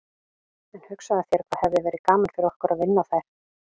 En hugsaðu þér hvað hefði verið gaman fyrir okkur að vinna þær.